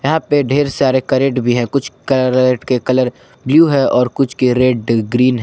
यहां पे ढेर सारे कैरेट भी है कुछ कैरेट के कलर ब्लू है और कुछ कैरेट ग्रीन है।